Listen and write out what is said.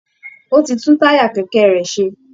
Ó ti tún táyà kẹ̀kẹ́ rẹ̀ ṣe